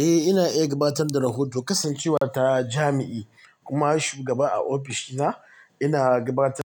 Eh ina iya gabatar da rahoto kasancewa ta jami'i kuma shugaba a ofishina ina gabatar--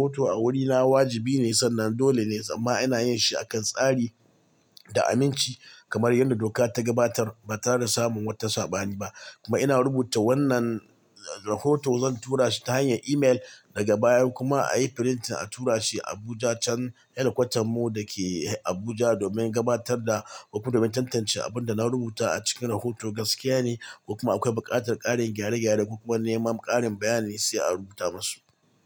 Rahoto a wurina wajibi ne sannan dole ne, amma ina yin shi akan tsari da aminci kamar yanda doka ta gabatar ba tare da samun wata saɓani ba. Kuma ina rubuta wannan, rahoto zan tura shi ta hanyar email daga baya kuma a yi print a tura shi Abuja can, head kwatarmu da ke Abuja domin gabatar da, domin tantance abin da na rubuta a cikin rahoto gaskiya ne ko kuma akwai buƙatar ƙarin gyare-gyare kuma neman ƙarin bayani sai a rubuta masu.